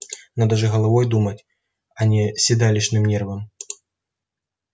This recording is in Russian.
надо же головой думать а не седалищным нервом